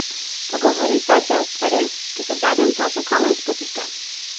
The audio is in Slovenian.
Pogovorita se o stvareh, ki so v zadnjem času kamen spotike!